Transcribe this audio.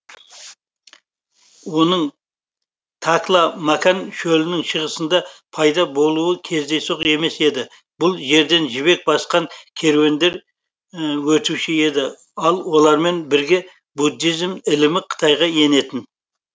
оның такла макан шөлінің шығысында пайда болуы кездейсоқ емес еді бұл жерден жібек басқан керуендер өтуші еді ал олармен бірге буддизм ілімі қытайға енетін